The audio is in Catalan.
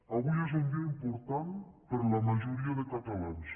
avui és un dia important per a la majoria de catalans